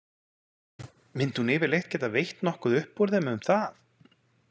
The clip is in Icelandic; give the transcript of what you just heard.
Myndi hún yfirleitt geta veitt nokkuð upp úr þeim um það?